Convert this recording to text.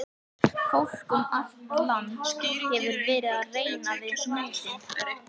Fólk um allt land hefur verið að reyna við hnútinn.